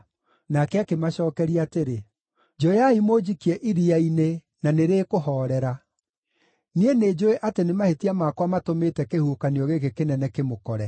Nake akĩmacookeria atĩrĩ, “Njoyai mũnjikie iria-inĩ na nĩrĩkũhoorera. Niĩ nĩnjũũĩ atĩ nĩ mahĩtia makwa matũmĩte kĩhuhũkanio gĩkĩ kĩnene kĩmũkore.”